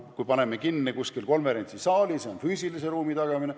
Kui paneme kinni konverentsisaali, on see füüsilise ruumi tagamine.